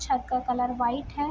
छत का colour white है।